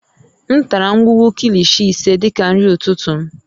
M tara ngwugwu Kilishi ise dị ka nri ụtụtụ m